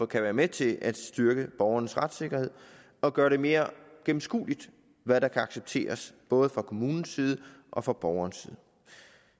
kan være med til at styrke borgernes retssikkerhed og gøre det mere gennemskueligt hvad der kan accepteres både fra kommunens side og fra borgerens side